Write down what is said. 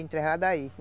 Enterrado aí.